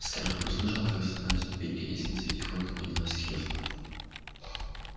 скарлетт услышала как застонали ступеньки лестницы и тихонько поднялась с кресла